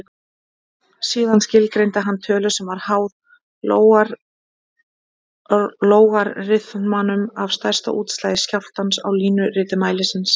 Síðan skilgreindi hann tölu sem var háð lógariþmanum af stærsta útslagi skjálftans á línuriti mælisins.